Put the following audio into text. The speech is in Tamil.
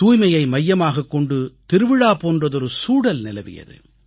தூய்மையை மையமாகக் கொண்டு திருவிழா போன்றதொரு சூழல் நிலவியது